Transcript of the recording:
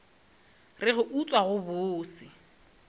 re go utswa go bose